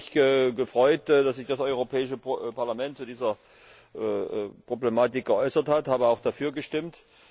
Ich habe mich gefreut, dass sich das Europäische Parlament zu dieser Problematik geäußert hat, und habe auch dafür gestimmt.